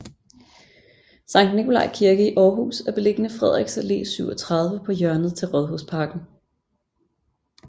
Sankt Nikolaj Kirke i Aarhus er beliggende Frederiks Allé 37 på hjørnet til Rådhusparken